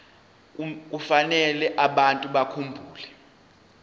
kufanele abantu bakhumbule